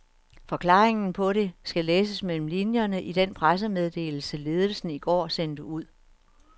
Forklaringen på det skal læses mellem linjerne i den pressemeddelelse, ledelsen i går sendte ud.